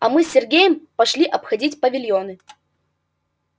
а мы с сергеем пошли обходить павильоны